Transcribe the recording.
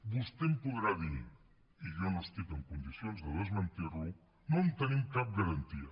vostè em podrà dir i jo no estic en condicions de desmentir lo no en tenim cap garantia